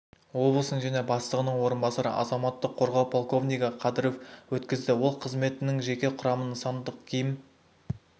облысының және бастығының орынбасары азаматтық қорғау полковнигі кадыров өткізді ол қызметтің жеке құрамын нысандық киім